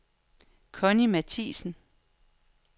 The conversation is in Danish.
Conni Mathiesen